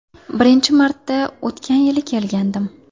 Birinchi marta o‘tgan yili kelgandim.